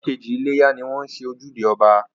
Ọjọ́ kejì iléyá ni wọ́n ń ṣe ojúde ọba